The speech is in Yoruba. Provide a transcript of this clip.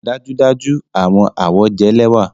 Dájúdájú! Awọn awọ jẹ lẹwa